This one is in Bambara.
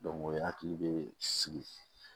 o hakili bɛ sigi